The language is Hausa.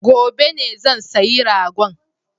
Gobe ne zan sayi ragon